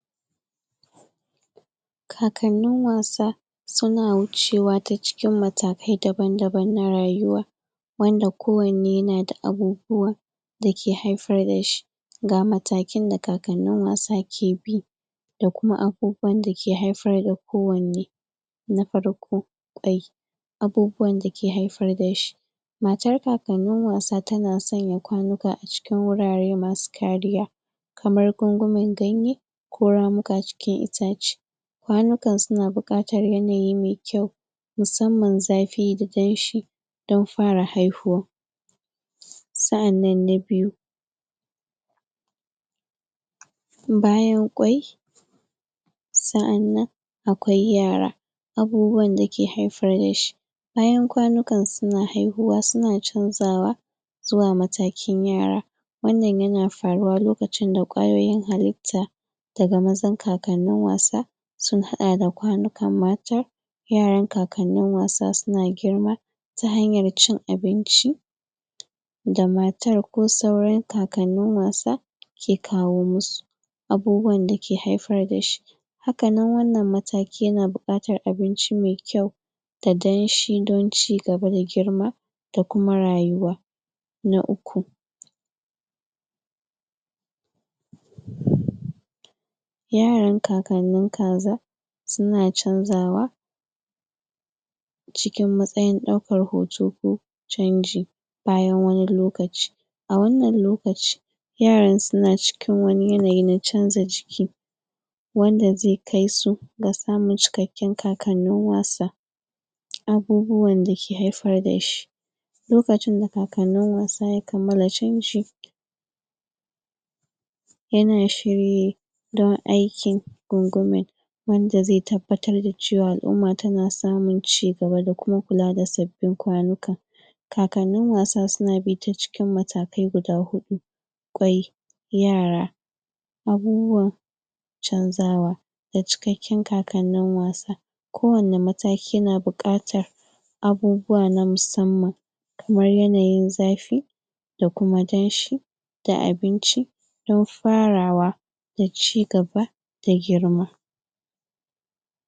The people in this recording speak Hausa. kakannin wasa suna wuce wa ta cikin matakai daban daban na rayuwa wanda ko wanne yana da abubuwa dake haifar dashi ga matakin da kakannin wasa ke bi da kuma abubuwan dake haifar da kowanne na farko dai abubuwan dake haifar dashi matar wasannin kaka tana sanya kwanika a cikin wurare masu kariya kamar gunguman ganye ko ramuka cikin itace kwanikan suna buƙatar yanayi me kyau musamman zafi da danshi dan fara haihuwa sa'annan na biyu bayan ƙwai sa'annan akwai yara abubuwan dake haifar dashi bayan kwanikan suna haihuwa suna canza wa zuwa matakin yara wannan yana faruwa lokacin da ƙwayoyin halitta kakannin wasa sun haɗa da kwanikan matar yaran kakannin wasa suna girma ta hanyar cin abinci da matar ko sauran kakannin wasa yake kawo musu abubuwan dake haifar dashi hakanan wannan mataki yana buƙatar abinci me kyau da danshi dan cigaba da girma da kuma rayuwa na uku yaran kakannin kaza suna canza wa cikin matsayin ɗaukar hoto ko canji bayan wani lokaci a wannan lokaci yaran suna cikin wani yanayi na canza jiki wanda zai kaisu ga samun cikakkin kakannin wasa abubuwan dake haifar dashi lokacin da kakannin wasa yana shirye don aikin gunguman wanda zai tabbatar da cewa al'uma tana samun cigaba da kuma kula da sabbin kwanika kakannin wasa suna bi ta cikin matakai guda hudu ƙwai yara abubuwan abubuwan canza wa da cikakkan kakannin wasa ko wanne mataki yana buƙatar abubuwa na musamman kamar yanayin zafi da kuma danshi da abinci dan farawa daci gaba